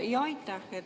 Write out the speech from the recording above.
Aitäh!